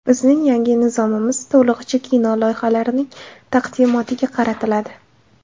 Bizning yangi nizomimiz to‘lig‘icha kino loyihalarining taqdimotiga qaratiladi.